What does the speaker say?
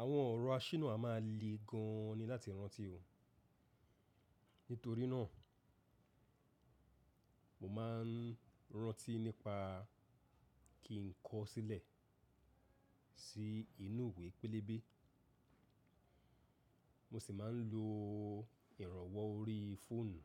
Àwọn ọ̀rọ̀ aṣínà a má a lè gan-an ni láti rántí òh. Nítorí náà, mo ma ń rántí nípa kí ń kọ sílẹ̀ sí inú ìwé pélébé. Mo sì má ń lo ìrànwọ́ orí fóònù